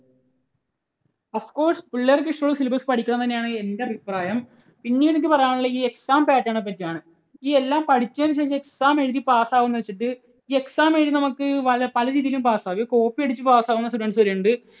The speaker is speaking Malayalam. of course പിള്ളേർക്ക് ഇഷ്ടമുള്ള syllabus പഠിക്കണം എന്ന് തന്നെയാണ് എൻറെ അഭിപ്രായം. പിന്നീട് എനിക്ക് പറയാനുള്ളത് ഈ exam pattern നെ പറ്റിയാണ്. ഈ എല്ലാം പഠിച്ചതിനുശേഷം exam എഴുതി pass ആകുമെന്ന് വെച്ചിട്ട് ഈ exam എഴുതി നമുക്ക് പലരീതിയിലും pass ആകാം. copy അടിച്ചു pass ആകുന്ന students വരെയുണ്ട്.